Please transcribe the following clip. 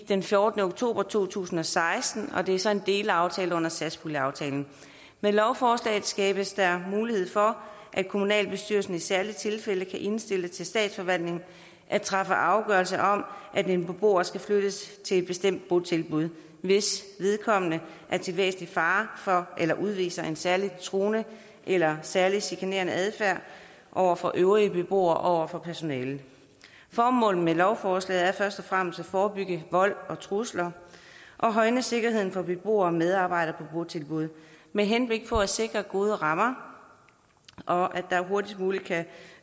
den fjortende oktober to tusind og seksten og det er så en delaftale under satspuljenaftalen med lovforslaget skabes der mulighed for at kommunalbestyrelsen i særlige tilfælde kan indstille til statsforvaltningen at træffe afgørelse om at en beboer skal flyttes til et bestemt botilbud hvis vedkommende er til væsentlig fare for eller udviser en særlig truende eller særlig chikanerende adfærd over for øvrige beboere og over for personalet formålet med lovforslaget er først og fremmest at forebygge vold og trusler og højne sikkerheden for beboere og medarbejdere botilbud med henblik på at sikre gode rammer og at der hurtigst muligt kan